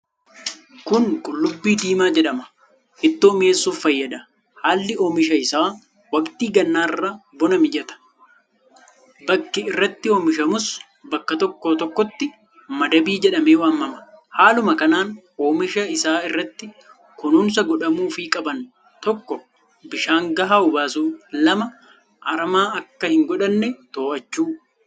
Kun Qullubbii diimaa jedhama. Ittoo miyeessuf fayyada. haalli omisha isaa waqtii gannaarra bona ni mijata. Bakki irratti omishamuus bakka tokko tokkotti madabi jedhame waamama. haaluma kanan omisha isa irratti kunuunsa godhamufi qaban 1_bishaan gaha obaasu 2_arama akka hin godhanne to'achuu